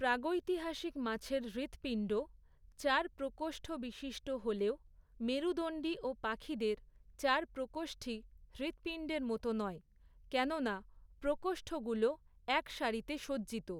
প্রাগৈতিহাসিক মাছের হৃৎপিণ্ড চার প্রকোষ্ঠবিশিষ্ট হলেও মেরুদন্ডী ও পাখিদের চার প্রকোষ্ঠী হৃৎপিণ্ডের মতো নয়; কেননা প্রকোষ্ঠগুলো এক সারিতে সজ্জিত।